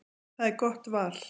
Það er gott val.